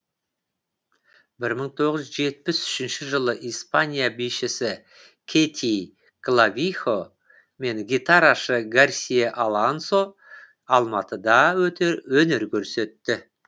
бір мың тоғыз жүз жетпіс үшінші жылы испания бишісі кэти клавихо мен гитарашы гарсия алонсо алматыда өнер көрсетті